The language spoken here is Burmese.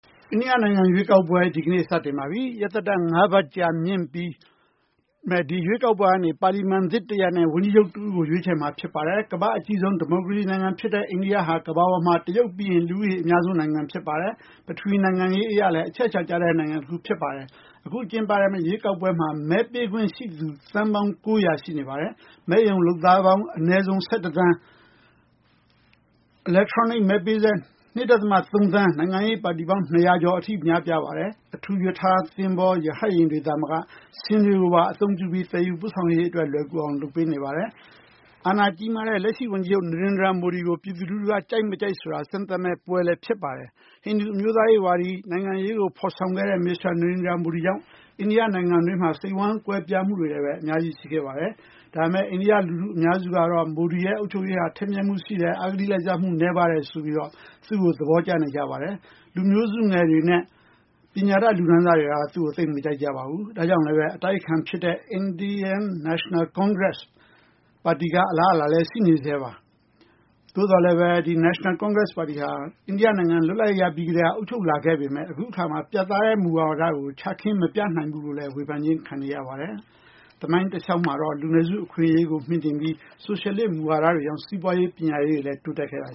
အိန္ဒိယ နိုင်ငံ ရွေးကောက်ပွဲ ဒီနေ့ စတင်ပါပြီ။ ရက်သတ္တပတ် ၅ ပတ် ကြာမြင့်မယ့် ဒီရွေးကောက်ပွဲကနေ ပါလီမန်သစ် တရပ်နဲ့ ဝန်ကြီးချုပ် တဦးကို ရွေးချယ်မှာ ဖြစ်ပါတယ်။ ကမ္ဘာ့အကြီးဆုံး ဒီမိုကရေစီ နိုင်ငံ ဖြစ်တဲ့ အိန္ဒိယဟာ ကမ္ဘာပေါ်မှာ တရုတ်ပြီးရင် လူဦးရေ အများဆုံး ဖြစ်ပါတယ်။ ပထဝီနိုင်ငံရေး အရလည်း အချက်အချာ ကျတဲ့ နိုင်ငံတခု ဖြစ်ပါတယ်။ အခု ကျင်းပမယ့် ရွေးကောက်ပွဲမှာ မဲပေးခွင့်ရှိသူ သန်းပေါင်း ၉၀၀ ရှိနေပါတယ်။ မဲရုံ လုပ်သားပေါင်း အနည်းဆုံး ၁၁ သန်း၊ အီလက်ထရောနစ် မဲပေးစက် ၂ ဒသမ ၃ သန်း၊ နိုင်ငံရေး ပါတီပေါင်း ၂၀၀ ကျော် အထိ များပြားပါတယ်။ အထူး ရထား၊ သဘောၤ ၊ ရဟတ်ယာဉ်တွေသာ မက ဆင်တွေကိုပါ အသုံးပြုပြီး သယ်ယူပို့ဆောင်ရေး လွယ်ကူအောင် လုပ်ပေးနေပါတယ်။ အာဏာကြီးမားတဲ့လက်ရှိ ဝန်ကြီးချုပ် နရိန္ဒြာမိုဒီကို ပြည်သူလူထုက ကြိုက်မကြိုက် ဆိုတာ စမ်းသပ်မယ့်ပွဲလည်း ဖြစ်ပါတယ်။ ဟိန္ဒူ အမျိုးသားရေး ဝါဒီ နိုင်ငံရေးကို ဖော်ဆောင်မယ့် မစ္စတာ နရိန္ဒြာမိုဒီကြောင့် အိန္ဒိယ နိုင်ငံတွင်းမှာ စိတ်ဝမ်းကွဲပြားမှုတွေလည်း အများကြီး ရှိခဲ့ပါတယ်။ ဒါပေမယ့် အိန္ဒိယ လူထု အများစုကတော့ မိုဒီရဲ့ အုပ်ချုပ်ရေးဟာ ထက်မြက်မှု ရှိတယ်၊ အဂတိ လိုက်စားမှုနည်းတယ်ဆိုပြီး သူ့ကို သဘောကျနေကြပါတယ်။ လူမျိုးစုငယ်တွေနဲ့ ပညာတတ် လူတန်းစားတွေက သူ့ကို သိပ်မကြိုက်ကြပါဘူး။ ဒါကြောင့်လည်း အတိုက်အခံ ဖြစ်တဲ့ Indian National Congress ပါတီက အလားအလာလည်း ရှိနေဆဲပါ။ သို့သော်လည်း ဒီ National Congress ပါတီဟာ အိန္ဒိယ နိုင်ငံမှာ လွတ်လပ်ရေး ရပြီးကတည်းက အုပ်ချုပ်လာပေမယ့် အခုအခါမှာ ပြတ်သားတဲ့ မူဝါဒကို ချခင်း မပြနိုင်ဘူးလို့လည်း ဝေဖန်ခြင်းခံနေရပါတယ်။ သမိုင်းတလေ ျှာက်မှာတော့ လူနည်းစု အခွင့်အရေးကို မြှင့်တင်ပြီး ဆိုရှယ်လစ်မူဝါဒတွေကြောင့် စီးပွားရေး ပညာရေးတွေလည်း တိုးတက်ခဲ့တာ